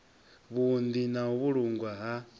vhuunḓi na u vhulungwa ha